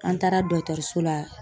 An taara dɔgɔtɔrɔso la